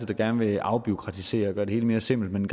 der gerne vil afbureaukratisere og gøre det hele mere simpelt men